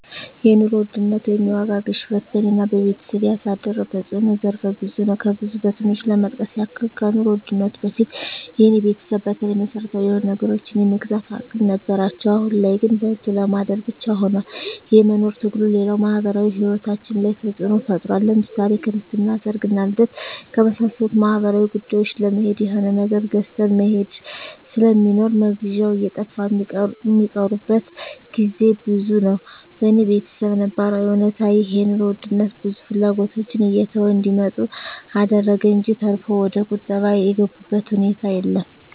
የኑሮ ውድነት ወይም የዋጋ ግሽበት በኔና በቤተሰቤ ያሳደረው ተጽኖ ዘርፈ ብዙ ነው። ከብዙ በትንሹ ለመጥቀስ ያክል ከኑሮ ውድነቱ በፊት የኔ ቤተሰብ በተለይ መሰረታዊ የሆኑ ነገሮችን የመግዛት አቅም ነበራቸው አሁን ላይ ግን በልቶ ለማደር ብቻ ሁኗል የመኖር ትግሉ፣ ሌላው ማህበራዊ ሂወታችን ላይ ተጽኖ ፈጥሯል ለምሳሌ ክርስትና፣ ሰርግና ልደት ከመሳሰሉት ማህበራዊ ጉዳዮች ለመሄድ የሆነ ነገር ገዝተህ መሄድ ስለሚኖር መግዣው እየጠፋ ሚቀሩበት ግዜ ብዙ ነው። በኔ በተሰብ ነባራዊ እውነታ ይህ የኑሮ ውድነት ብዙ ፍላጎቶችን እየተው እንዲመጡ አደረገ እንጅ ተርፎ ወደቁጠባ የገቡበት ሁኔታ የለም።